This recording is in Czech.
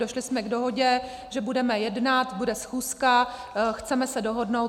Došli jsme k dohodě, že budeme jednat, bude schůzka, chceme se dohodnout.